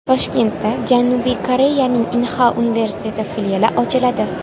Toshkentda Janubiy Koreyaning Inha universiteti filiali ochiladi.